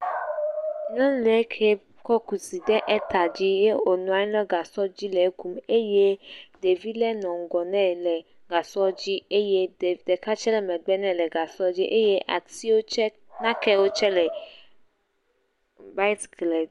Nyɔnu ke kɔ kusi ɖe eta eye wo nɔ anyi ɖe gasɔ dzi le ekum. Ɖevi le nɔ ŋgɔ ne le gasɔ dzi eye ɖeka tse le megbe ne le gasɔ dzi eye asiwo tse, nakewo tse le bysikle